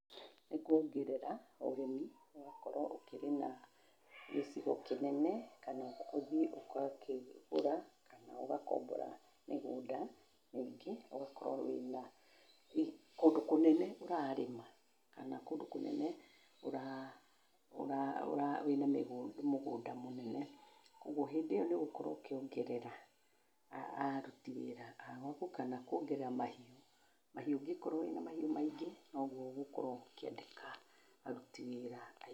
Nĩ gũongerera ũrĩmi ũgagĩkora ũgagĩkora ũrĩ na gĩcigo kĩnene kana ũthie ũgakĩgũra kana ũgakombora mĩgũnda mĩingĩ ũgagĩkora wĩna kũndũ kũnene ũrarĩma kana kũndũ kũnene wĩna mũgũnda mũnene ,kogũo hĩndĩ ĩyo nĩ ũgũkorwo ũkĩongerera arũti wĩra agũakũ kana kũongerera mahiũ, mahiũ ũngĩkorwo wĩna maingĩ nogũo ũgũkorwo ũkĩendeka aruti wĩra aingĩ.